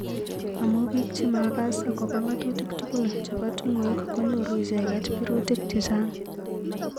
amu bik chemakas akobo ngatutik tugul chebo tungwek konyoru icheket birutik chechang.